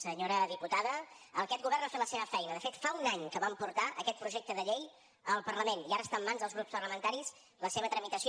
senyora diputada aquest govern ha fet la seva feina de fet fa un any que vam portar aquest projecte de llei al parlament i ara està en mans dels grups parlamentaris la seva tramitació